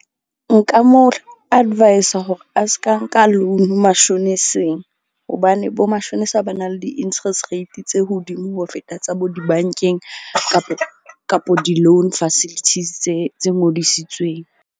Nka mo advise-a hore a ska nka loan mashoneseng. Hobane bo mashonisa ba na le di-interest rate tse hodimo ho feta tsa bo di-bank-eng kapo di-loan facilities tse ngodisitsweng.